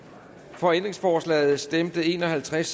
for ændringsforslaget stemte en og halvtreds